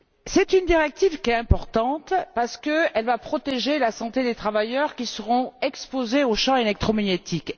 C'est une directive qui est importante, parce qu'elle va protéger la santé des travailleurs qui seront exposés aux champs électromagnétiques.